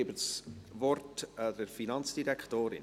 Ich gebe das Wort der Finanzdirektorin.